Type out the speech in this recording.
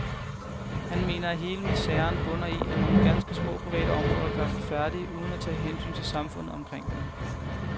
Han mener, at hele miseren bunder i, at nogle ganske små, private områder gør sig færdige uden at tage hensyn til samfundet omkring dem.